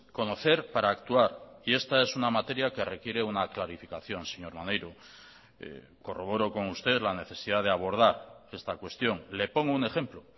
conocer para actuar y esta es una materia que requiere una clarificación señor maneiro corroboro con usted la necesidad de abordar esta cuestión le pongo un ejemplo